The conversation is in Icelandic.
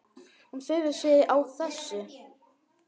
Hún furðar sig á þessu.